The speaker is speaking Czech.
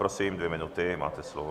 Prosím, dvě minuty, máte slovo.